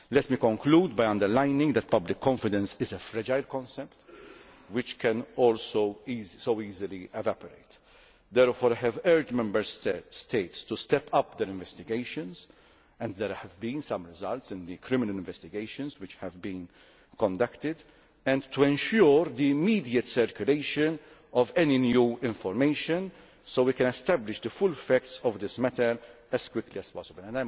Let me conclude by emphasising that public confidence is a fragile concept which can all so easily evaporate. Therefore, I have urged Member States to step up their investigations and there have been some results in the criminal investigations which have been conducted and to ensure the immediate circulation of any new information, so we can establish the full facts of this matter as quickly as